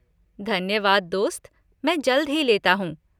धन्यवाद दोस्त, मैं जल्द ही लेता हूँ।